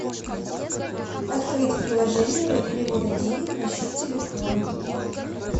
открыть приложение для перевода денег на счет телефона